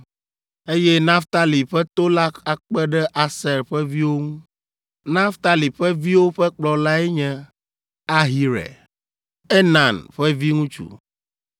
Eye Naftali ƒe to la akpe ɖe Aser ƒe viwo ŋu. Naftali ƒe viwo ƒe kplɔlae nye Ahira, Enan ƒe viŋutsu,